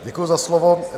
Děkuji za slovo.